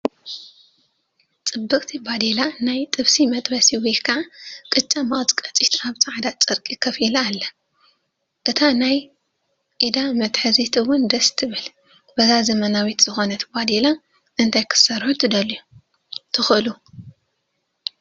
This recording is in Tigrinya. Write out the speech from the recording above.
ፅብቕቲ ባዴላ ናይ ጥብሲ መጥበሲ ወይ ቅጫ መቐጭቀጪትን ኣብ ፃዕዳ ጨርቂ ከፍ ኢላ ኣላ፡፡ አታ ናይ ኢዳ መትሓዚት ውን ደስ ትብል፡፡ በዛ ዘበናዊት ዝኾነት ባዴላ እንታይ ክትሰርሑ ትኽእሉ?